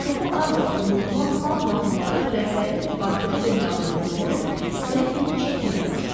Çoxu az qala unudulan xalq mahnıları rəhbərin xatirə böhranına doğru səhifini çəkməyə başladı.